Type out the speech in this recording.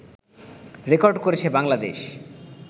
record করেছে বাংলাদেশ